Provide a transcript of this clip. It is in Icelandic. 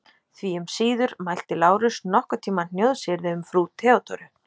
Því um síður mælti Lárus nokkurn tíma hnjóðsyrði um frú Theodóru.